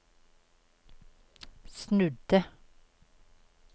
snudde